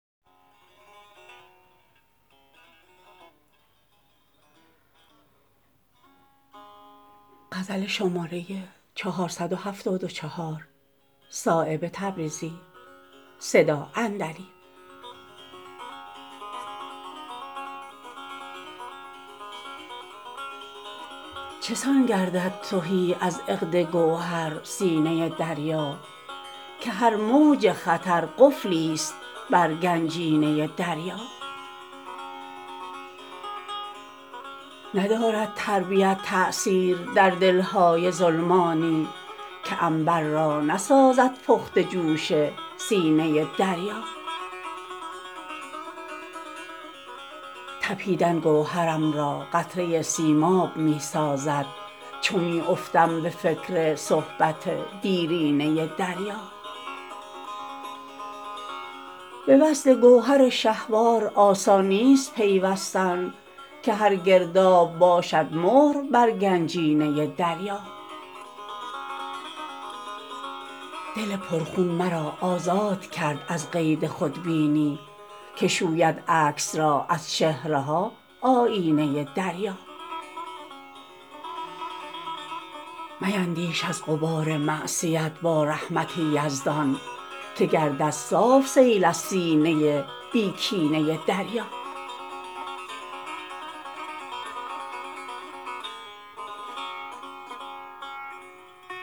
چسان گردد تهی از عقد گوهر سینه دریا که هر موج خطر قفلی است بر گنجینه دریا ندارد تربیت تأثیر در دلهای ظلمانی که عنبر را نسازد پخته جوش سینه دریا تپیدن گوهرم را قطره سیماب می سازد چو می افتم به فکر صحبت دیرینه دریا به وصل گوهر شهوار آسان نیست پیوستن که هر گرداب باشد مهر بر گنجینه دریا دل پر خون مرا آزاد کرد از قید خودبینی که شوید عکس را از چهره ها آیینه دریا میندیش از غبار معصیت با رحمت یزدان که گردد صاف سیلی از سینه بی کینه دریا